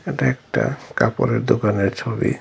এটা একটা কাপড়ের দোকানের ছবি।